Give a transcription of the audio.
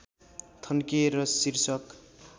थन्किए र शीर्षक